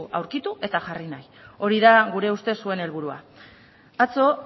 aurkitu eta jarri nahi hori da gure ustez zuen helburua atzo